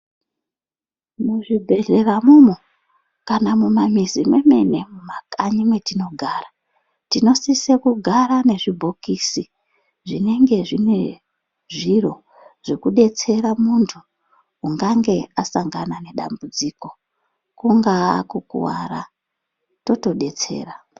Muzvibhedhlera muno kana mumamizi mwemene mumakanyi matinogara tinosisa kugara mezvibhokisi zvinenge zvine zviro zvekuti zvekudetsera muntu ungange asangana nedambudziko kungava kukuwara totodetsera.